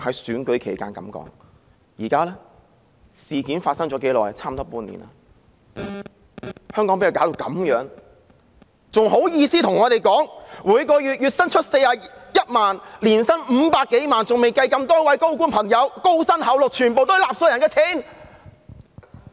事件發生了差不多半年，香港被她弄成這樣子，她還好意思賺取月薪41萬元、年薪500多萬元，還未計多位高官高薪厚祿，全是納稅人的錢。